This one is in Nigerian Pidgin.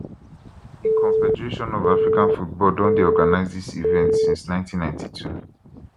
di confederation of african football don dey organise dis event since 1992